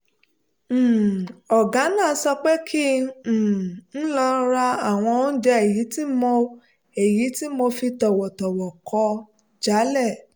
um ọ̀gá náà sọ pé kín um n lọ ra àwọn oúnjẹ èyí tí mo èyí tí mo fi tọ̀wọ̀tọ̀wọ̀ kọ̀ jálẹ̀